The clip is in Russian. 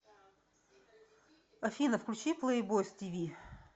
афина включи плэйбойс ти ви